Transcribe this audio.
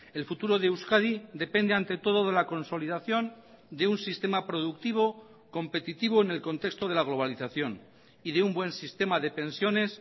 el futuro de euskadi depende ante todo de la consolidación de un sistema productivo competitivo en el contexto de la globalización y de un buen sistema de pensiones